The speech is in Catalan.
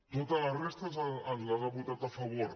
tota la resta ens les ha votat a favor